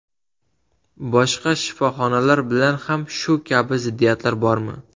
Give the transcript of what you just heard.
Boshqa shifoxonalar bilan ham shu kabi ziddiyatlar bormi?